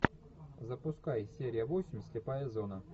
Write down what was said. запускай серия восемь слепая зона